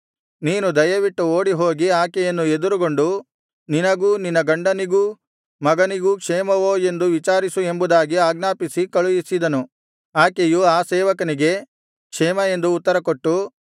ನೀನು ದಯವಿಟ್ಟು ಓಡಿಹೋಗಿ ಆಕೆಯನ್ನು ಎದುರುಗೊಂಡು ನಿನಗೂ ನಿನ್ನ ಗಂಡನಿಗೂ ಮಗನಿಗೂ ಕ್ಷೇಮವೋ ಎಂದು ವಿಚಾರಿಸು ಎಂಬುದಾಗಿ ಆಜ್ಞಾಪಿಸಿ ಕಳುಹಿಸಿದನು ಆಕೆಯು ಆ ಸೇವಕನಿಗೆ ಕ್ಷೇಮ ಎಂದು ಉತ್ತರ ಕೊಟ್ಟು